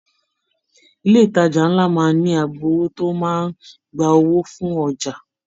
Ilé ìtàjà nlá máa n ní agbowó tó máa n gbà owó fún ọjà.